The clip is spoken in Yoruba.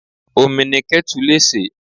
Omi ni ketu lè se.